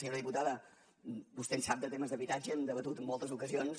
senyora diputada vostè en sap de temes d’habitatge hem debatut en moltes ocasions